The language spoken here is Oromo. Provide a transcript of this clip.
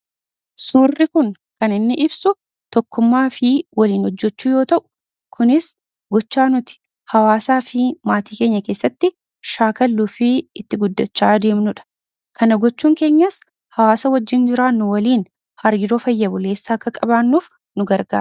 Suurri kun kan inni ibsu tokkummaafi waliin hojjechuu yoota'u; Kunis gocha nuti hawaasaafi maatii keenya keessatti shaakalluufi itti guddachaa deemnudha. Kana gochuun keenyas hawaasa wajjin jiraannu waliin hariiroo fayya buleessa akka qabaannuuf nugargaara.